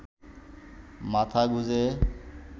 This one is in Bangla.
মাথা গুঁজে